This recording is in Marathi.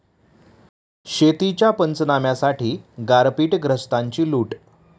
शेतीच्या पंचनाम्यासाठी गारपीटग्रस्तांची लूट!